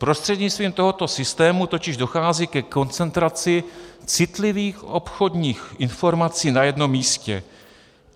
Prostřednictvím tohoto systému totiž dochází ke koncentraci citlivých obchodních informací na jednom místě.